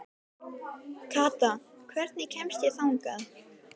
Kata, hvernig kemst ég þangað?